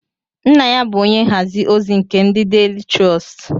Nna ya bu onye nhazi ozi nke ndi Daily Trust